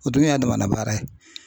O dun y'a damana baara ye.